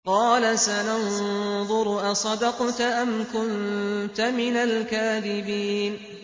۞ قَالَ سَنَنظُرُ أَصَدَقْتَ أَمْ كُنتَ مِنَ الْكَاذِبِينَ